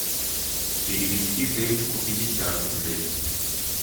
перевести денчику пятьдесят рублей